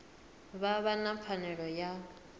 vha vha na pfanelo ya